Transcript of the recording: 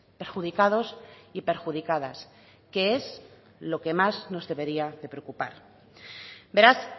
perjudicados y perjudicadas que es lo que más nos debería de preocupar beraz